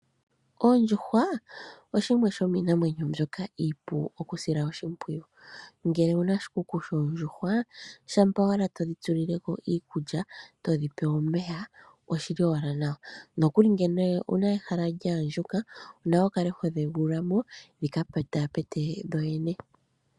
Oondjuhwa dhimwe dhomiinamwenyo iipu okusila oshipwiyu. Ngele owuna oshikuku shoondjuhwa shampa owala todhi tulile ko iikulya, todhipe omeya oshili owala nawa. Ngele owuna ehala lya andjuka onawa wukale hodhi egulula mo dhika pekaapeke dhodhene.